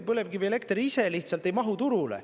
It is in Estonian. Põlevkivielekter ise lihtsalt ei mahu turule.